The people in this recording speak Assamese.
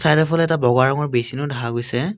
চাইডৰফালে এটা বগা ৰঙৰ বেচিনো দেখা গৈছে।